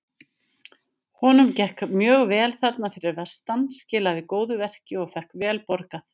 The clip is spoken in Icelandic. Honum gekk mjög vel þarna fyrir vestan- skilaði góðu verki og fékk vel borgað.